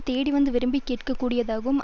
தேடிவந்து விரும்பிக் கேட்க கூடியதாகவும்